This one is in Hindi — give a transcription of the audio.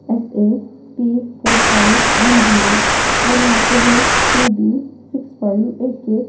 SAP four five one zero और यहां पे है पी_बी सिक्स फाइव एक एक --